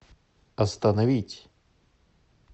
остановить